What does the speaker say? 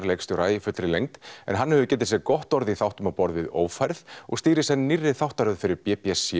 leikstjóra í fullri lengd en hann hefur getið sér gott orð í þáttum á borð við ófærð og stýrir senn nýrri þáttaröð fyrir b b c